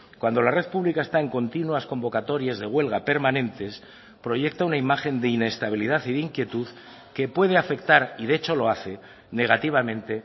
cuando la red pública está en continuas convocatorias de huelga permanentes proyecta una imagen de inestabilidad y de inquietud que puede afectar y de hecho lo hace negativamente